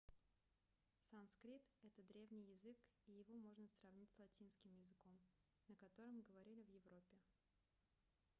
санскрит это древний язык и его можно сравнить с латинским языком на котором говорили в европе